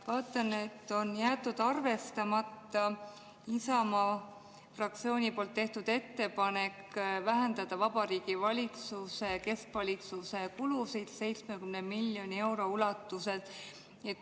Vaatan, et on jäetud arvestamata Isamaa fraktsiooni tehtud ettepanek vähendada Vabariigi Valitsuse keskvalitsuse kulusid 70 miljoni euro ulatuses.